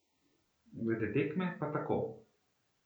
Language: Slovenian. Glede tekme pa tako.